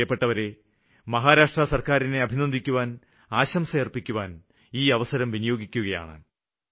പ്രിയപ്പെട്ടവരെ മഹാരാഷ്ട്ര സര്ക്കാരിനെ അഭിനന്ദിക്കുവാന് ആശംസയര്പ്പിക്കുവാന് ഈ അവസരം വിനിയോഗിക്കുകയാണ്